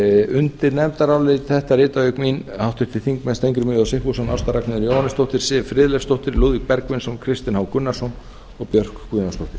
undir nefndarálit þetta rita auk mín háttvirtir þingmenn steingrímur j sigfússon ásta ragnheiður jóhannesdóttir siv friðleifsdóttir lúðvík bergvinsson kristinn h gunnarsson og björk guðjónsdóttir